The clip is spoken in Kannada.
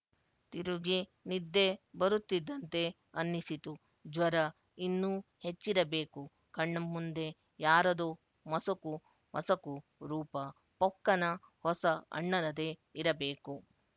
ತಿರುಗಿ ನಿದ್ದೆ ಬರುತ್ತಿದ್ದಂತೆ ಅನ್ನಿಸಿತು ಜ್ವರ ಇನ್ನೂ ಹೆಚ್ಚಿರಬೇಕು ಕಣ್ಣಮುಂದೆ ಯಾರದೋ ಮಸಕು ಮಸಕು ರೂಪ ಪೊಕ್ಕನ ಹೊಸ ಅಣ್ಣನದೇ ಇರಬೇಕು